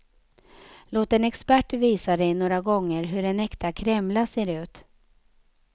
Låt en expert visa dig några gånger hur en äkta kremla ser ut.